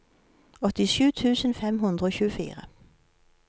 åttisju tusen fem hundre og tjuefire